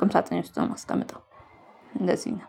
ቁም ሳጥኔ ውስጥ ነው የማስቀምጠው። እንደዚህ ነው።